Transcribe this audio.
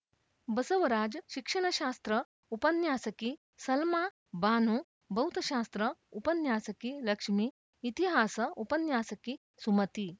ಬಸವರಾಜ್‌ಶಿಕ್ಷಣಶಾಸ್ತ್ರ ಉಪನ್ಯಾಸಕಿ ಸಲ್ಮಾ ಬಾನು ಭೌತಶಾಸ್ತ್ರ ಉಪನ್ಯಾಸಕಿ ಲಕ್ಷ್ಮೀ ಇತಿಹಾಸ ಉಪನ್ಯಾಸಕಿ ಸುಮತಿ